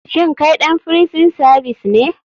Shin kai ɗan frison savis ne?